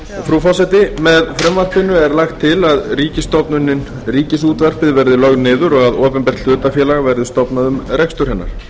frú forseti með frumvarpinu er lagt til að ríkisstofnunin ríkisútvarpið verði lögð niður og að opinbert hlutafélag verði stofnað um rekstur hennar